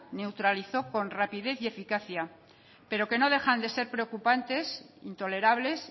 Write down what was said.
neutralizó con rapidez y eficacia pero que no dejan de ser preocupantes intolerables